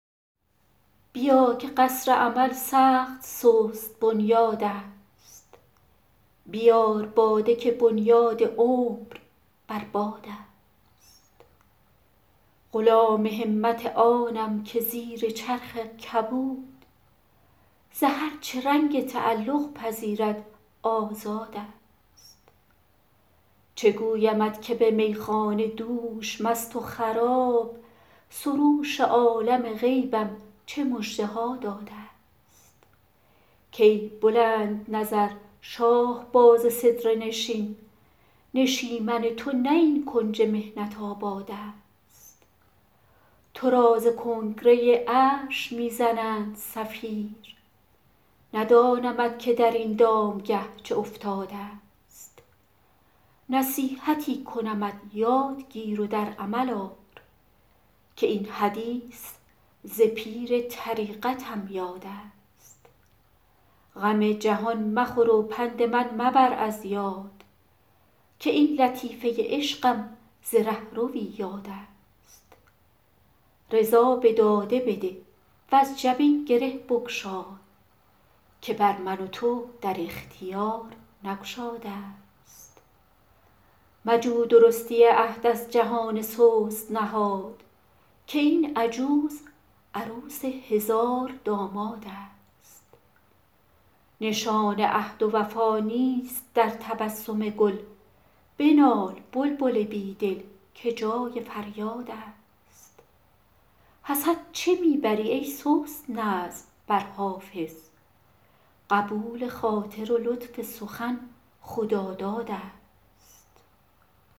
بیا که قصر امل سخت سست بنیادست بیار باده که بنیاد عمر بر بادست غلام همت آنم که زیر چرخ کبود ز هر چه رنگ تعلق پذیرد آزادست چه گویمت که به میخانه دوش مست و خراب سروش عالم غیبم چه مژده ها دادست که ای بلندنظر شاهباز سدره نشین نشیمن تو نه این کنج محنت آبادست تو را ز کنگره عرش می زنند صفیر ندانمت که در این دامگه چه افتادست نصیحتی کنمت یاد گیر و در عمل آر که این حدیث ز پیر طریقتم یادست غم جهان مخور و پند من مبر از یاد که این لطیفه عشقم ز رهروی یادست رضا به داده بده وز جبین گره بگشای که بر من و تو در اختیار نگشادست مجو درستی عهد از جهان سست نهاد که این عجوز عروس هزاردامادست نشان عهد و وفا نیست در تبسم گل بنال بلبل بی دل که جای فریادست حسد چه می بری ای سست نظم بر حافظ قبول خاطر و لطف سخن خدادادست